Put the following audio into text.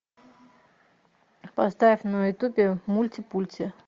поставь на ютубе мульти пульти